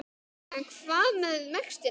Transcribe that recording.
En hvað með vextina?